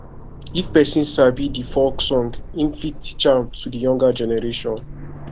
if perosn sabi di folk song im fit teach am to di younger generation